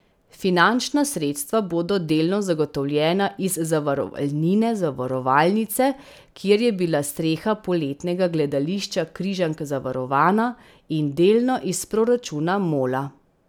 Finančna sredstva bodo delno zagotovljena iz zavarovalnine zavarovalnice, kjer je bila streha poletnega gledališča Križank zavarovana, in delno iz proračuna Mola.